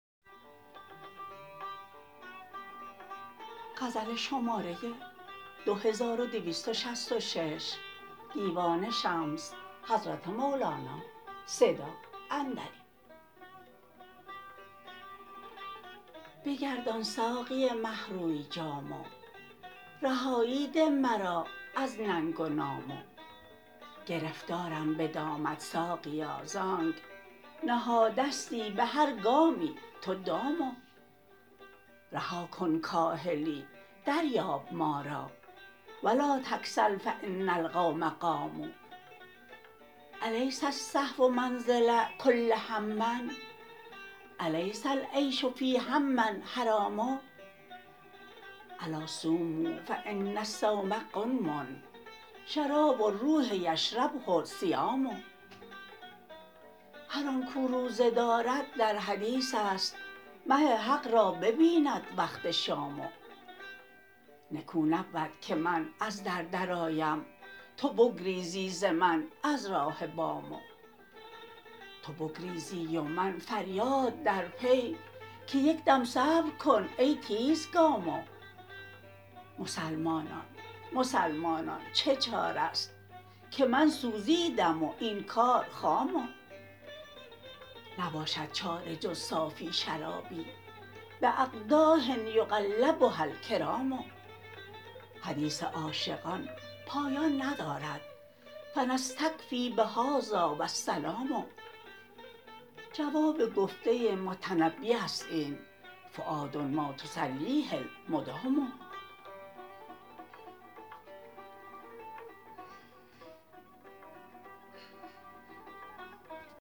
بگردان ساقی مه روی جام رهایی ده مرا از ننگ و نام گرفتارم به دامت ساقیا ز آنک نهادستی به هر گامی تو دام رها کن کاهلی دریاب ما را و لا تکسل فان القوم قاموا الیس الصحو منزل کل هم الیس العیش فی هم حرام الا صوموا فان الصوم غنم شراب الروح یشربه الصیام هر آن کو روزه دارد در حدیث است مه حق را ببیند وقت شام نکو نبود که من از در درآیم تو بگریزی ز من از راه بام تو بگریزی و من فریاد در پی که یک دم صبر کن ای تیزگام مسلمانان مسلمانان چه چاره ست که من سوزیدم و این کار خام نباشد چاره جز صافی شرابی باقداح یقلبها الکرام حدیث عاشقان پایان ندارد فنستکفی بهذا و السلام جواب گفته متنبی است این فؤاد ما تسلیه المدام